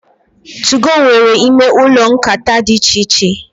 2go nwere ime ụlọ nkata dị íchè iche.